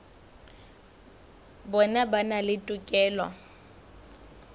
bona ba na le tokelo